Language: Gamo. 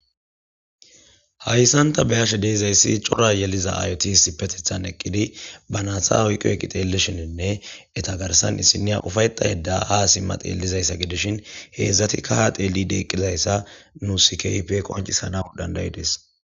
hayssan ta beyashe deezayssi cora yeliza ayoti si petethan eqqidi ba naasa oyqo eqi xeelishininne eta garsan issiniya ufayxayedda ha simma teellizayssa gidishin heedzdzatikka ha teeli deeqqizayssa nu sikayp qoncisanaq dandayi des